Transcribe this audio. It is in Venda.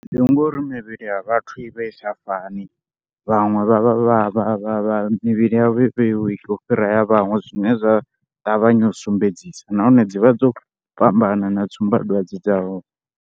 Zwi ya nga uri mivhili ya vhathu i vha i sa fani, vhaṅwe vha vha vha vha, mivhili yavho i u fhira ya vhaṅwe zwine zwa ṱavhanya u sumbedzisa nahone dzi vha dzo fhambana na tsumbadwadze dza hone.